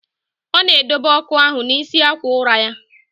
Ọ na edobe ọkụ ahụ n'isi akwa ụra ya.